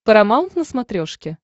парамаунт на смотрешке